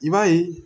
I b'a ye